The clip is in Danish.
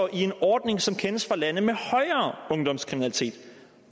i en ordning som kendes fra lande med højere ungdomskriminalitet